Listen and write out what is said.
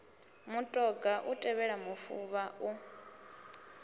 mutoga u tevhela mufuvha u